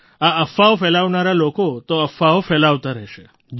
આ અફવાઓ ફેલાવનારા લોકો તો અફવાઓ ફેલાવતા રહેશે